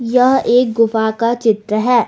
यह एक गुफा का चित्र है।